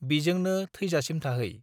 बिजोंनो थैजासिम थाहै।